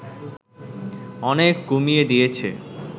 অনেক কমিয়ে দিয়েছে